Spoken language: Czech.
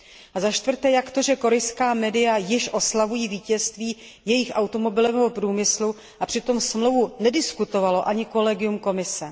A začtvrté jak to, že korejská média již oslavují vítězství jejich automobilového průmyslu, a přitom smlouvu nediskutovalo ani kolegium Komise?